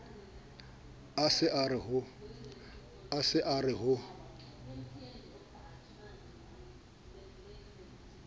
a se a re ho